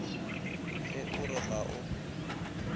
ge o re ga o